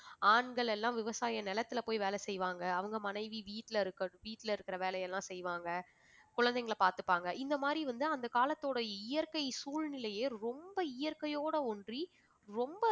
ஆண்களெல்லாம் விவசாய நிலத்தில போய் வேலை செய்வாங்க அவங்க மனைவி வீட்டில இருக்க~ வீட்ல இருக்கிற வேலையெல்லாம் செய்வாங்க குழந்தைகளை பாத்துப்பாங்க இந்த மாதிரி வந்து அந்தக் காலத்தோட இயற்கை சூழ்நிலையே ரொம்ப இயற்கையோட ஒன்றி ரொம்ப